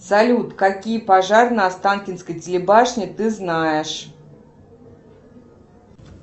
салют какие пожары на останкинской телебашне ты знаешь